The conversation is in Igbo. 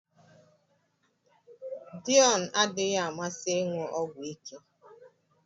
Deon adịghị amasị ịṅụ ọgwụ ike